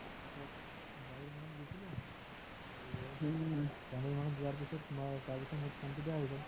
january মাহত গৈছিলো to january মাহত যোৱাৰ পিছত তোমাৰ তাৰপিছত মোৰ phone তো বেয়া হৈ গল